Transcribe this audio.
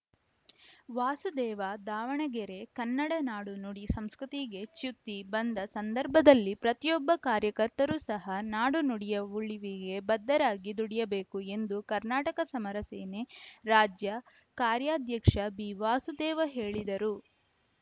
ವಾಸುದೇವ ದಾವಣಗೆರೆ ಕನ್ನಡ ನಾಡು ನುಡಿ ಸಂಸ್ಕೃತಿಗೆ ಚ್ಯುತಿ ಬಂದ ಸಂದರ್ಭದಲ್ಲಿ ಪ್ರತಿಯೊಬ್ಬ ಕಾರ್ಯಕರ್ತರೂ ಸಹಾ ನಾಡು ನುಡಿಯ ಉಳಿವಿಗೆ ಬದ್ಧರಾಗಿ ದುಡಿಯಬೇಕು ಎಂದು ಕರ್ನಾಟಕ ಸಮರ ಸೇನೆ ರಾಜ್ಯ ಕಾರ್ಯಾಧ್ಯಕ್ಷ ಬಿವಾಸುದೇವ ಹೇಳಿದರು